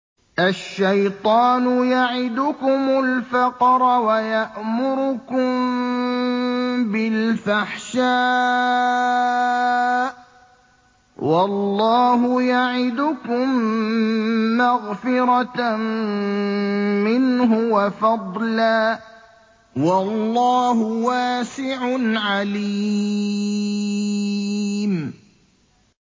الشَّيْطَانُ يَعِدُكُمُ الْفَقْرَ وَيَأْمُرُكُم بِالْفَحْشَاءِ ۖ وَاللَّهُ يَعِدُكُم مَّغْفِرَةً مِّنْهُ وَفَضْلًا ۗ وَاللَّهُ وَاسِعٌ عَلِيمٌ